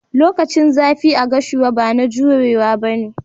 Lokacin zafi a gashua bana jurewa ba ne.